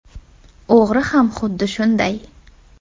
O‘g‘ri ham xuddi shunday.